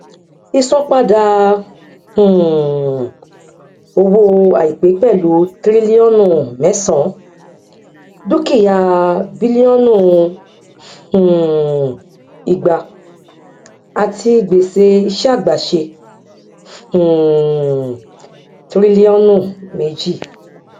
ìsanpadà um owó àìpé pẹlú tíríliọnù mẹsàn dúkìá bílíọnù um igba àti gbèsè iṣẹàgbéṣe um tíríliọnù méjì